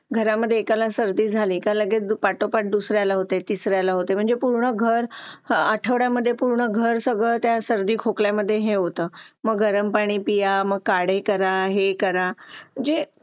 Late होतं सर्दी खोकला हा एक वाढलं आहे. एका मुलाला क्लास पूर्ण क्लास त्याच्यामध्ये वाहून निघत निघत असतो असं म्हणायला हरकत नाही. हो डेंग्यू, मलेरिया यासारखे आजार पण ना म्हणजे लसीकरण आहे. पूर्ण केले तर मला नाही वाटत आहे रोप असू शकतेपुडी लसीकरणाबाबत थोडं पालकांनी लक्ष दिलं पाहिजे की आपला मुलगा या वयात आलेला आहे. आता त्याच्या कोणत्या लसी राहिलेले आहेत का?